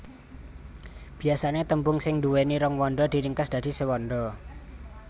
Biasané tembung sing nduwéni rong wanda diringkes dadi sewanda